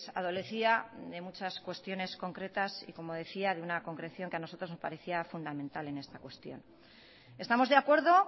adolecía de muchas cuestiones concretas y como decía de una concreción que a nosotros nos parecía fundamental en esta cuestión estamos de acuerdo